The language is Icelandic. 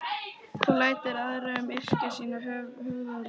Það lætur aðra um að yrkja sínar höfuðlausnir.